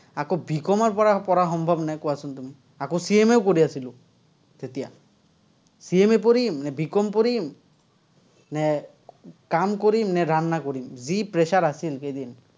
আকৌ B. Com. ৰপৰা পঢ়া সম্ভৱনে, কোৱাচোন তুমি? আকৌ, CMA ও কৰি আছিলো, তেতিয়া। CMA পঢ়িম, নে B. Com. পঢ়িম, নে কাম কৰিম, নে কৰিম। যি pressure আছিল, সেইদিন।